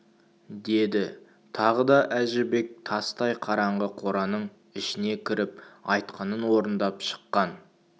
деді тағы да әжібек тастай қараңғы қораның ішіне кіріп айтқанын орындап шыққан